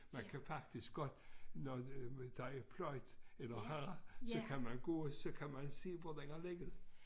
Man kan faktisk godt når øh der er pløjet eller har så kan man gå og så kan man se hvor den har ligget